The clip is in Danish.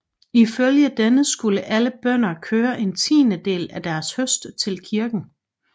Ifølge denne skulle alle bønder køre en tiendedel af deres høst til kirken